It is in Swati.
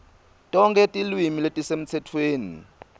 tonkhe tilwimi letisemtsetfweni